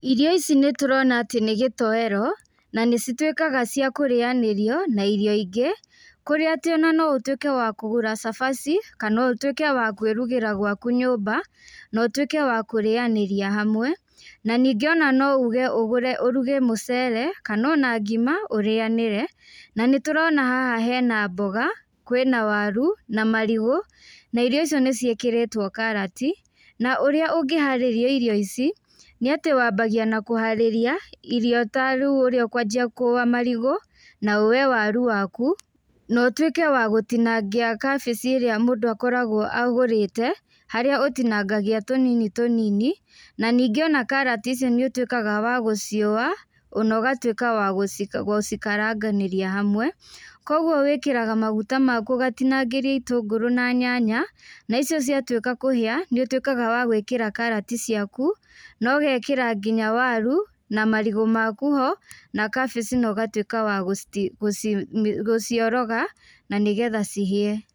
Irio ici nĩtũrona atĩ nĩgĩtowero, na nĩcituĩkaga cia kũrĩanĩrio na irio ingĩ, kũrĩa atĩ ona no ũtuĩke wa kũgũra cabaci, kana ũtuĩke wa kwĩrugĩra gwaku nyũmba, na ũtuĩke wa kũrĩanĩria hamwe, na ningĩ ona no uge ũruge mũcere, kana ona ngima ũrĩanĩre, na nĩtũrona haha hena mboga, kwĩna waru, namarigũ, na irio icio nĩciĩkĩrĩtwo karati, na ũrĩa ũngĩharĩria irio ici, nĩatĩ wambagĩa na kũharĩria, irio ta rĩũ ũrĩa ũkwanjia kũa marigũ, na woye waru waku, na ũtuĩke wa gũtinangia kabici ĩrĩa mũndũ akoragwo agũrĩte, harĩa ũtinangagia tũnini tũnini, na nĩngĩ ona karati ici nĩũtuĩkaga wa gũciũa, ona ũgatuĩka wa gũci gũcikaranganĩria hamwe, koguo wĩkĩraga maguta maku ũgatinagĩria itungũrũ na nyanya, na icio ciatuĩka kũhĩa, nĩũtuĩkaga wa gwĩkĩra karati ciaku, nogekĩra nginya waru, na marigũ maku ho, na kabici nogatuĩka wa gũciti gũci gũcioroga, na nĩgetha cihie.